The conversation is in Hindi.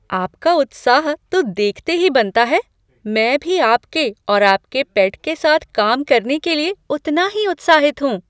आपका उत्साह तो देखते ही बनता है! मैं भी आपके और आपके पेट के साथ काम करने के लिए उतना ही उत्साहित हूँ।